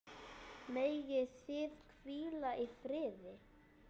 Megið þið hvíla í friði.